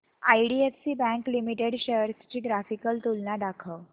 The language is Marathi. आयडीएफसी बँक लिमिटेड शेअर्स ची ग्राफिकल तुलना दाखव